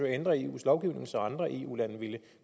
at ændre eus lovgivning så andre eu lande vil